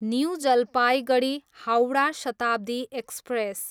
new Jalpaiguri, Howrah Shatabdi express